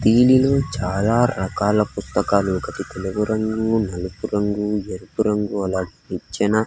దీనిలో చాలా రకాల పుస్తకాలు ఒకటి తెలుపు రంగు నలుపు రంగు ఎరుపు రంగు అలాగే నిచ్చెన.